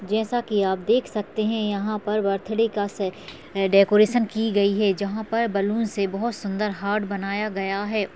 जैसा कि आप देख सकते हैं यहाँ पर बर्थडे का से अ डेकोरेशन की गई है जहाँ पर बलून से बोहोत सुंदर हार्ट बनाया गया है।